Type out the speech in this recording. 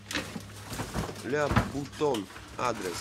ля бутон адрес